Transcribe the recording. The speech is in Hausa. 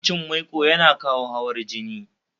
yawan cin maiko yana kawo hawar jini